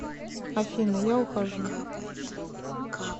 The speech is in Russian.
афина я ухожу